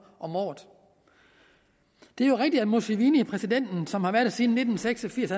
om året det er jo rigtigt at museveni præsidenten som har været der siden nitten seks og firs